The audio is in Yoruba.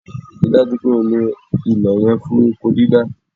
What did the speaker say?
Rí i dájú pé o lo ilẹ̀ yẹn fún oko dídá!